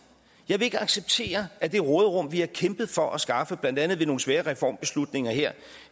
vil ikke acceptere at det råderum vi har kæmpet for at skaffe blandt andet ved nogle svære reformbeslutninger her